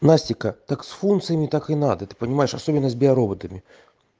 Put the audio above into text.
настика так с функциями так и надо ты понимаешь особенность био роботами